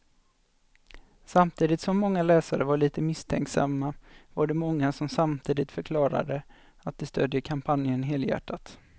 Samtidigt som många läsare var lite misstänksamma var det många som samtidigt förklarade att de stödjer kampanjen helhjärtat.